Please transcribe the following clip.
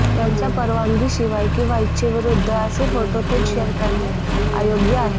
त्यांच्या परवानगीशिवाय किंवा इच्छेविरुद्ध असे फोटो थेट शेअर करणं अयोग्य आहे